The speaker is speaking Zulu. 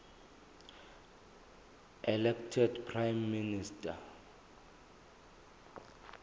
elected prime minister